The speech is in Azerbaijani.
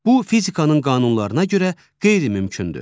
Bu fizikanın qanunlarına görə qeyri-mümkündür.